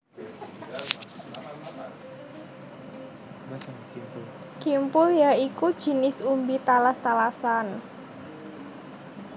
Kimpul ya iku jinis umbi talas talasan